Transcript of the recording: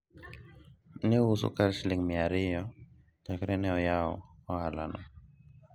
ne ouso skar siling' miya ariyo chakre ne oyaw ohala no